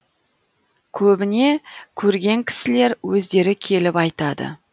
көбіне көрген кісілер өздері келіп айтады